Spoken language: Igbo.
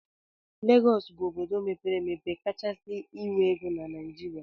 Legọs bụ obodo mepere emepe kachasị nwee ego na Naijiria.